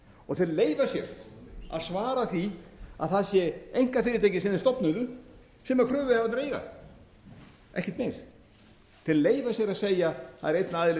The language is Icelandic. og þeir leyfa sér að svara því að það sé einkafyrirtæki sem þeir stofnuðu sem kröfuhafarnir eiga ekkert meir þeir leyfa sér að segja það er einn aðili